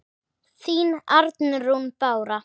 Þín, Arnrún Bára.